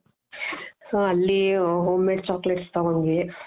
so ಅಲ್ಲಿ homemade chocolates ತೊಗೊಂಡ್ವಿ.